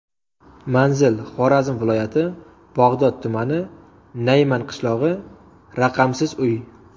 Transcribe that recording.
Manzil: Xorazm viloyati, Bog‘ot tumani, Nayman qishlog‘i, raqamsiz uy.